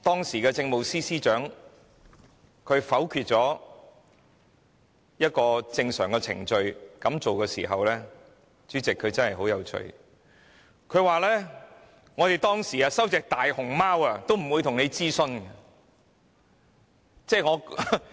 時任政務司司長在否決採用正常程序時的說法很有趣，她說政府以往接收大熊貓時也沒有諮詢公眾。